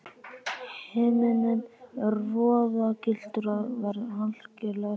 Himinninn er roðagylltur og veður algerlega stillt.